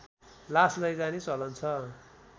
लास लैजाने चलन छ